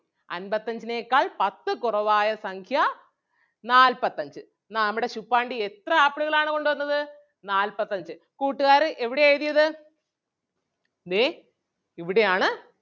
അൻപത്തഞ്ചിനെക്കാൾ പത്ത് കുറവായ സംഖ്യ നാല്പത്തഞ്ച്. ആഹ് നമ്മുടെ ശുപ്പാണ്ടി എത്ര ആപ്പിളുകൾ ആണ് കൊണ്ട് വന്നത് നാല്പത്തഞ്ച്. കൂട്ടുകാര് എവിടെയാ എഴുതിയത് ദേ ഇവിടെ ആണ്.